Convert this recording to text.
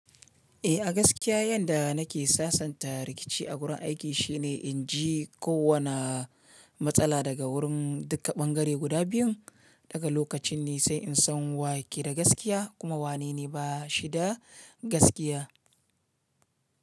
Eh, a gaskiya yanda nake sasanta rikici a wurin aiki shine in ji kowane matsala daga wurin duka bangare guda biyun. Daga lokacin ne sai in san wa ke da gaskiya kuma wane ne ba shi da gaskiya.